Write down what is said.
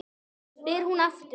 spyr hún aftur.